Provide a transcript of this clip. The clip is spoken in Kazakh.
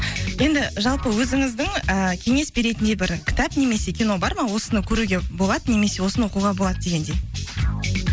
енді жалпы өзіңіздің і кеңес беретіндей бір кітап немесе кино бар ма осыны көруге болады немесе осыны оқуға болады дегендей